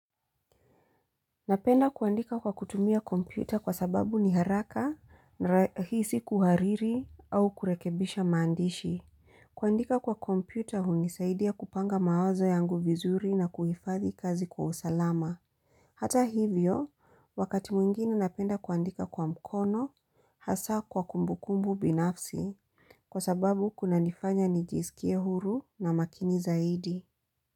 Napenda kuandika kwa kutumia kompyuta kwa sababu ni haraka na rahisi kuhariri au kurekebisha maandishi. Kuandika kwa kompyuta hunisaidia kupanga mawazo yangu vizuri na kuhifadhi kazi kwa usalama. Hata hivyo, wakati mwingini napenda kuandika kwa mkono hasa kwa kumbukumbu binafsi kwa sababu kuna nifanya nijisikie huru na makini zaidi.